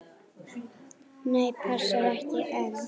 Nei, passar ekki enn!